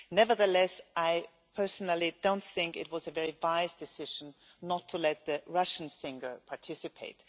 Nevertheless, I personally do not think that it was a very wise decision not to let the Russian singer participate.